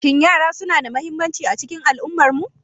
Shin yara suna da mahimmanci a cikin al'ummarmu?